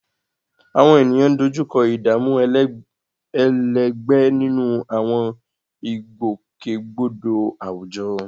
Àwọn ènìyàn ń dojú kọ ìdààmú ẹlẹgbẹ́ nínú àwọn ìgbòkègbodò àwùjọ